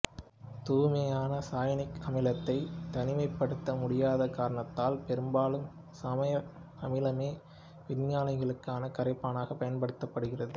தூய்மையான சயனிக் அமிலத்தைத் தனிமைப்படுத்த முடியாத காரணத்தால் பெரும்பாலும் சமசயனிக் அமிலமே வினைகளுக்கான கரைப்பானாகப் பயன்படுகிறது